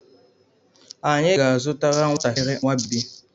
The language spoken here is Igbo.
Anyị ga-azụtara nwatakiri nwa bebi.